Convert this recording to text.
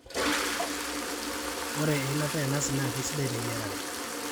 ore eilata enazi naa keisidai teyiarare